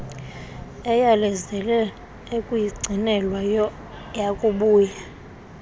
eyalezele ukuyigcinelwa yakubuya